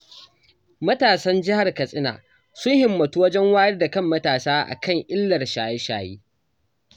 Matasan Jihar Katsina sun himmatu wajen wayar da kan matasa a kan illar shaye-shaye